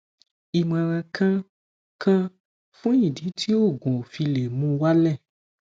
imoran kan kan fun idi ti oogun o file muwale